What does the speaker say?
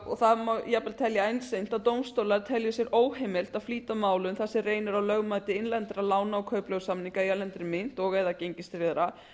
og það má jafnvel telja einsýnt að dómstólar telji sér óheimilt að flýta málum þar sem reynir á lögmæti innlendra lána og kaupleigusamninga í erlendri mynt og eða gengistryggðra